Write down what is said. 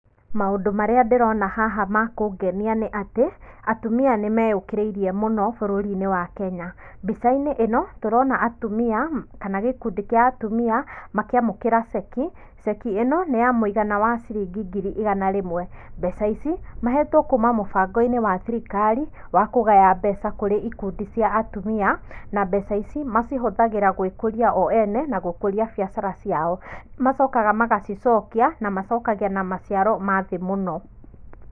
Maũndũ marĩa ndĩrona haha kũngenia nĩ atĩ, atumia nĩ meyũkĩrĩirie mũno bũrũri-inĩ Wakenya mbica-inĩ ĩno tũrona atumia kana gĩkundi kĩa atumia makĩamũkĩra cheki, cheki ĩno nĩ ya mũigana wa ciringi ngiri igana rĩmwe, mbeca ici mahetwo kuma mũbango-inĩ wa thirikari wa kũgaya mbeca kũrĩ ikundi cia atumia na mbeca ici macihũthagĩra na gwĩkũria o ene na gũkũria biacara ciao nĩ macokaga magacicokia na macokagia na maciaro ma thĩ mũno.